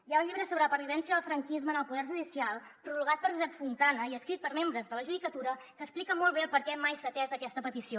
hi ha un llibre sobre la pervivència del franquisme en el poder judicial prologat per josep fontana i escrit per membres de la judicatura que explica molt bé per què mai s’ha atès aquesta petició